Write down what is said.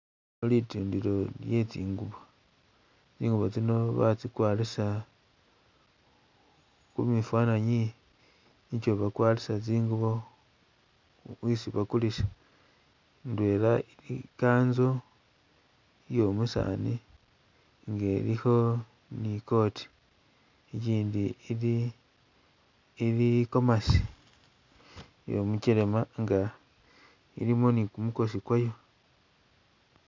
Litindilo lye tsingubo, tsingubo tsino batsikwarisa kumifananyi nikyo bakwarisa tsingubo isi bakulisa, indwela Ili i'kanzo iyo musaani nga elikho ni coat, ikyindi ili ili i'gomasi iyo mukyelema nga ilimo ni kumukosi kwayo